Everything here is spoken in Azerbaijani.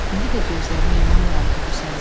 İndi də gözlərimə inanmıram ki, bu sənsən."